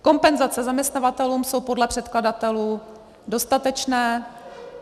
Kompenzace zaměstnavatelům jsou podle předkladatelů dostatečné.